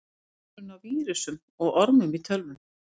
Hver er munurinn á vírusum og ormum í tölvum?